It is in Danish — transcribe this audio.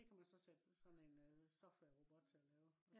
det kan man så sætte sådan en øh softwarerobot til at lave